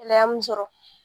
Ɛlɛya mun sɔrɔ